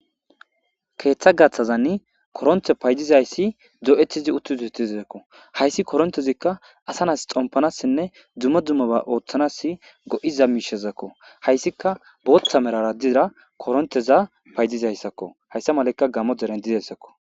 Keeththa gaththazanni koronte paydizayssi do7etizi utti dohetizzakko hayssi korontezikka asa nas xompanassinne dummo dummoba ooththanas go7iza miishezakko hayssika booththa merara dira koronteza paydizayssakko hayssa malakka gamo deren didessakko.